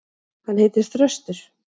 Hann heitir Þröstur.